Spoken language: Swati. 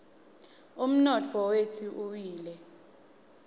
umnotfo wetfu uwile